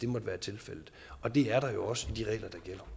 måtte være tilfældet og det er der jo også i de regler